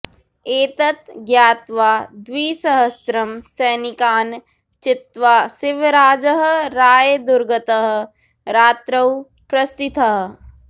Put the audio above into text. एतत् ज्ञात्वा द्विसहस्त्रं सैनिकान् चित्वा शिवराजः रायदुर्गतः रात्रौ प्रस्थितः